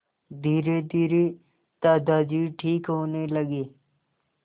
धीरेधीरे दादाजी ठीक होने लगे